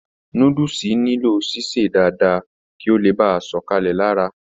Núdúsí nilo sise dáadáa kí o le baà sọkalẹ lára.